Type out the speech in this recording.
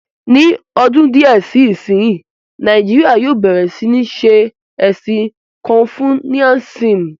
Ní ọdún díẹ̀ sí ìsín, Nàìjíríyà yóò bẹ̀rẹ̀ sí ní ṣé ẹ̀sìn kọnfusiánísímù